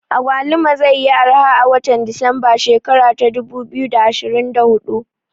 Agwaluma zai yi arha a watan desemba shekara ta dubu biyu da ashirin da hudu